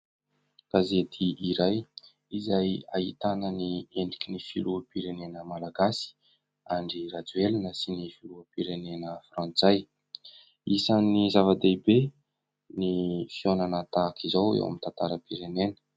Gazety iray izay ahitana ny endriky ny filoham-pirenena malagasy Andry Rajoelina sy ny filoham-pirenena frantsay, isan'ny zava-dehibe ny fihaonana tahaka izao eo amin'ny tantaram-pirenena.